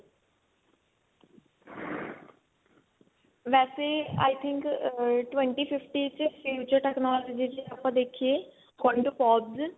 ਵੇਸੇ i think twenty fifty ਚ technology ਚ ਆਪਾਂ ਦੇਖੀਏ